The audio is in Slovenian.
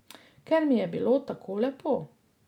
Ker mi je bilo tako lepo.